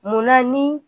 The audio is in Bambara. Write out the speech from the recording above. Munna ni